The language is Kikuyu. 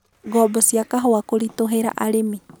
Ngombo cia kahũa kũritũhĩra arĩmi.